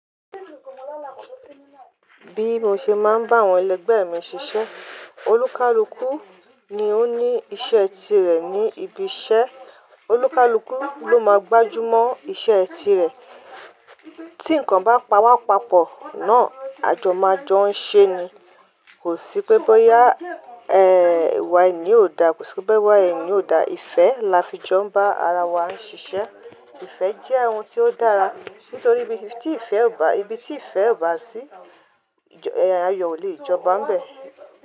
Bí mo ṣe máa ń bá àwọn ẹlẹgbẹ́ mi ṣiṣẹ́, olúkalúkù ni ó ní iṣẹ́ tirẹ̀ ní ibi iṣẹ́, olúkalúkù ló máa gbájú mọ́ iṣẹ́ tirẹ̀. Tí nǹkan bá pawá papọ̀ náà a jọ máa jọ ń ṣe ni. Kò sí pé bóyá ẹ, iwa ẹni yii ò dá, kò sí pé bóyá iwa ẹni yii ò dá, ìfẹ́ la fi jọ ń bá ara wa ń ṣiṣẹ́. Ìfẹ́ jẹ́ ohun tí ó dára nítorí ibi tí ìfẹ́ ò bá, ibi tí ìfẹ́ ò bá sí, ẹ̀ ayọ̀ ò lè jọba bẹ̀